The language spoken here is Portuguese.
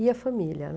Ia a família